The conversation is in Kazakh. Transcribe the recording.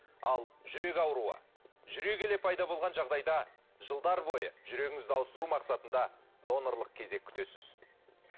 ал жүрек ауруы жүре келе пайда болған жағдайда жылдар бойы жүрегіңізді ауыстыру мақсатында донорлық кезек күтесіз